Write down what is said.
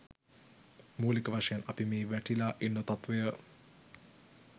මූලික වශයෙන් අපි මේ වැටිලා ඉන්න තත්ත්වය